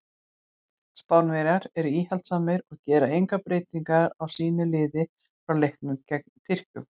Spánverjar eru íhaldssamir og gera enga breytingu á sínu liði frá leiknum gegn Tékkum.